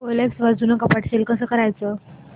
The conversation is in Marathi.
ओएलएक्स वर जुनं कपाट सेल कसं करायचं